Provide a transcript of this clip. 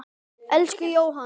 Elsku Jóhann.